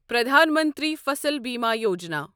Pradhan Mantri Fasal Bima Yojana